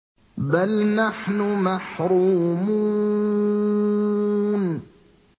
بَلْ نَحْنُ مَحْرُومُونَ